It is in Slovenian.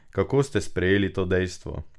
Kako ste sprejeli to dejstvo?